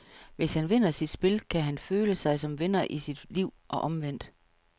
Hvis han vinder sit spil, kan han føle sig som vinder i sit liv, og omvendt.